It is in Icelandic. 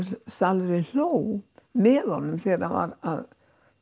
salurinn hló með honum þegar hann var að